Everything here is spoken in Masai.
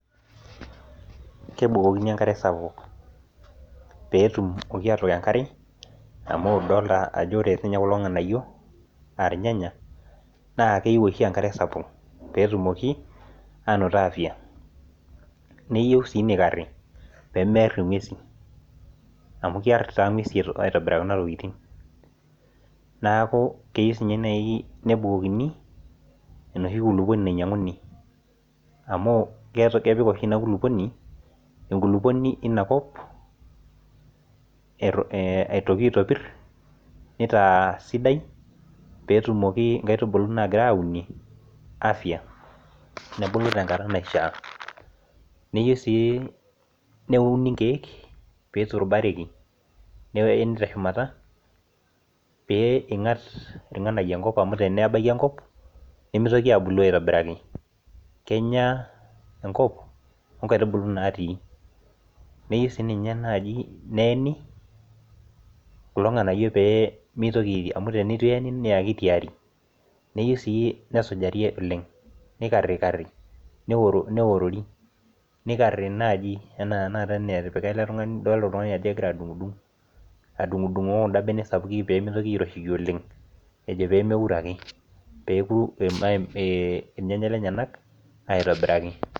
Kebukokini enkare sapuk. Pee etumoki aatook enkare amu idolita ajo ore siininche kulo nganayio naa irnyanya naa keyieu oshi enkare sapuk pee etumoki aanoto afya. Neyieu sii neikarri pee mear inguesin amu kear taa inguesin aitobiraki kuna tokitin. Neaku keyieu siininye naaji nebukokini enoshi kulupuoni nainyianguni amuu kepik oshi ina kulupuoni, enkulupuoni eina kop atoki aitopirr neitaa sidai peetumoki nkaitubulu naagirai aaunie afya nebulu tenkata naishiaa. Neyieu sii neuni ikeek peyie eiturubaraki peeni te shumata peyie engat ilganayio enkop amu tenebaiki enkop nemeitoki aabulu aitobiraki. Kenya enkop inkaitubulu naatii. Neyieu sii ninye neeni kulo nganayio pee meitiriori amuu teneitu eeni naa keitiaari. Neyieu sii nesujari oleng neikarikari neorori. Neikari naaji anaa tanaka enatipika ele tungani idol ajo kegira adungudung, adungudungoo kunda benek sapuki pee meitoki airoshie oleng ejo pee meouro ake. Pee eku irnyanya lenyenak aitobiraki